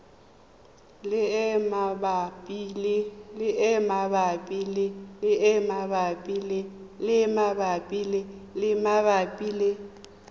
le e e mabapi le